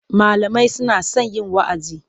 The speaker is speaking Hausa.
Malamai suna son yin wa'azi.